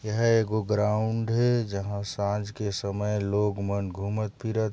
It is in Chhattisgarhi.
एहा एगो ग्राउंड हे जहाँ सांझ के समय लोग मन घुमत फिरत--